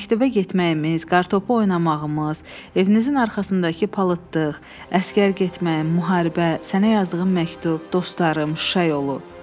Məktəbə getməyimiz, kartopu oynamağımız, evinizin arxasındakı palıtdıq, əsgər getməyim, müharibə, sənə yazdığım məktub, dostlarım, Şuşa yolu.